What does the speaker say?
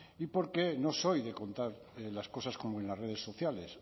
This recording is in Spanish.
y porque no soy de contar las cosas como en las redes sociales